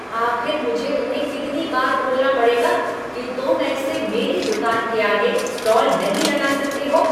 आख़िर मुझे तुम्हें कितनी बार बोलना पड़ेगा कि तुम ऐसे मेरी दुकान के आगे स्टॉल नहीं लगा सकते हो?